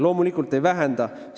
Loomulikult ei vähenda!